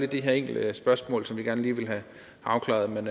de her enkelte spørgsmål som vi gerne vil have afklaret men